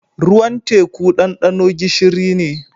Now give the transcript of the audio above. Ruwan teku dandano gishiri ne.